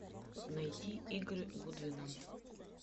найти игры гудвина